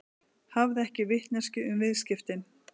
Hafði ekki vitneskju um viðskiptin